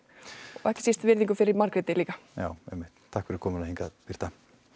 og ekki síst virðingu fyrir Margréti líka já einmitt takk fyrir komuna hingað Birta